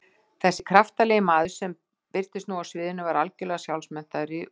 Þessi kraftalegi maður sem birtist nú á sviðinu var algjörlega sjálfmenntaður í músík.